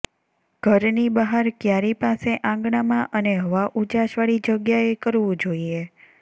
ઘરની બહાર ક્યારી પાસે આંગણાંમાં અને હવા ઉજાસવાળી જગ્યાએ કરવું જોઈએ